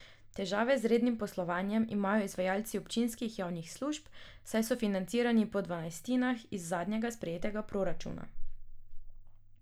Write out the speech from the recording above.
Težave z rednim poslovanjem imajo izvajalci občinskih javnih služb, saj so financirani po dvanajstinah iz zadnjega sprejetega proračuna.